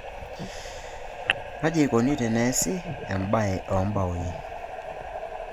Kaji ikoni eneesi esiai oombaoi ?